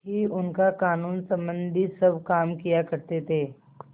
ही उनका कानूनसम्बन्धी सब काम किया करते थे